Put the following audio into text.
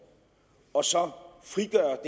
og så frigøre